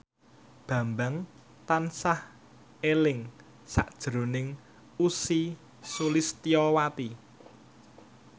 Bambang tansah eling sakjroning Ussy Sulistyawati